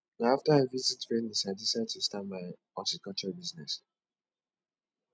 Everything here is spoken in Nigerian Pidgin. na after i visit venice i decide to start my horticulture business